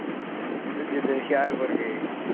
ਜਿਦਣ ਹੁਸ਼ਿਆਰਪੂਰ ਗਏ